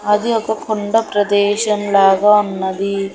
అది ఒక కొండ ప్రదేశం లాగా ఉన్నది.